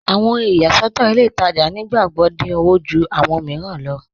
Awọn ohun iyàṣọ̀tọ̀ ilẹ̀ Ìtajà̀ nígbàgbọ́ dín ọwọ̀ jù awọn míìràn lọ.